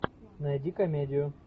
найди комедию